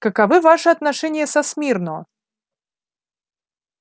каковы ваши отношения со смирно